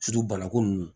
banako nu